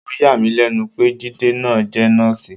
Ó yà mí lẹ́nu pé Jide náà jẹ́ nọ́ọ̀sì.